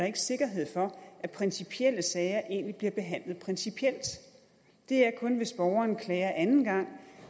ikke sikkerhed for at principielle sager egentlig bliver behandlet principielt det er kun hvis borgeren klager anden gang